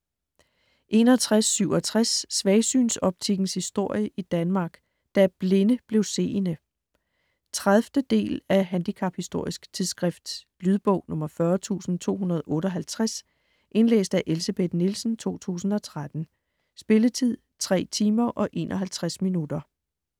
61.67 Svagsynsoptikkens historie i Danmark: Da "blinde" blev seende 30. del af Handicaphistorisk tidsskrift. Lydbog 40258 Indlæst af Elsebeth Nielsen, 2013. Spilletid: 3 timer, 51 minutter.